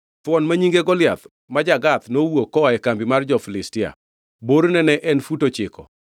Thuon ma nyinge Goliath, ma ja-Gath nowuok koa e kambi mar jo-Filistia. Borne ne en fut ochiko.